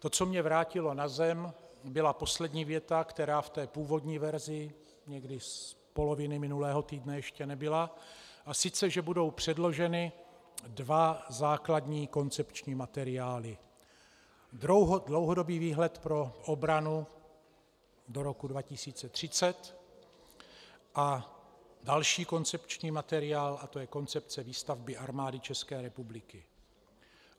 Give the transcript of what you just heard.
To, co mě vrátilo na zem, byla poslední věta, která v té původní verzi někdy z poloviny minulého týdne ještě nebyla, a sice že budou předloženy dva základní koncepční materiály - Dlouhodobý výhled pro obranu do roku 2030 a další koncepční materiál a to je koncepce výstavby Armády České republiky.